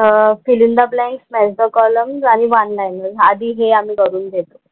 अह fill in the blanks, match the columns आणि one liner आधी हे आम्ही करून घेतो.